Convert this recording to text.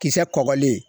Kisɛ kɔkɔlen